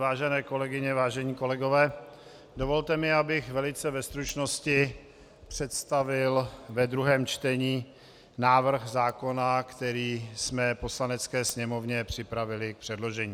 Vážené kolegyně, vážení kolegové, dovolte mi, abych velice ve stručnosti představil ve druhém čtení návrh zákona, který jsme Poslanecké sněmovně připravili k předložení.